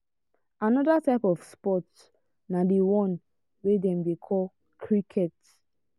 another type of sports na the one wey dem dey call cricket.